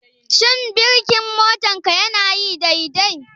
Shin birkin motarka yana aiki dai dai?